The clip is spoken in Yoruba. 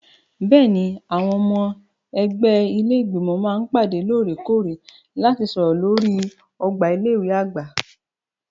Bẹ́ẹ̀ni, àwọn ọmọ ẹgbẹ́ ilé Ìgbìmọ̀ máa ń pàdé lóòrè-kóòrè láti sọ̀rọ̀ lórí ọgbà ilé ìwé àgbà.